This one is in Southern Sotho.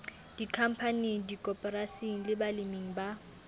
dikhampaning dikoporasing le baleming ba